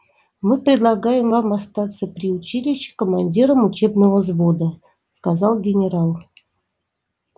мы предлагаем вам остаться при училище командиром учебного взвода сказал генерал